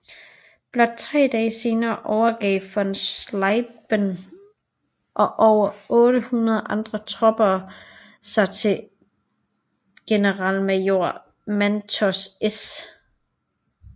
Blot tre dage senere overgav von Schlieben og over 800 andre tropper sig til generalmajor Manton S